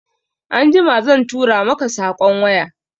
Anjima zan tura maka saƙon waya